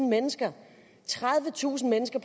mennesker tredivetusind mennesker